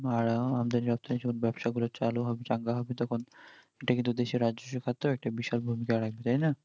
আর যতো জন ব্যাবসা করা চালু হবে চাঙ্গা হবে তখন এটা কিন্তু দেশের রাজ্য সরকার তো একটা বিশাল ভূমিকা